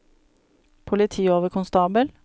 politioverkonstabel